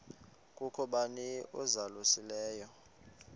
kukho bani uzalusileyo